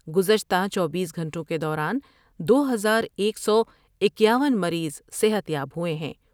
گزشتہ چوبیس گھنٹوں کے دوران دو ہزار ایک سو اکیاون مریض صحت یاب ہوۓ ہیں ۔